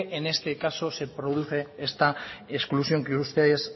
en este caso se produce esta exclusión que ustedes